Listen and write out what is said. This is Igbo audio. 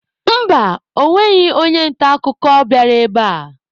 Mba, ọ nweghị onye nta akụkọ bịara ebe a.